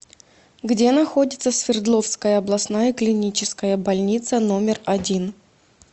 где находится свердловская областная клиническая больница номер один